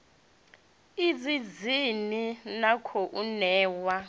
idzi dzine na khou ṋewa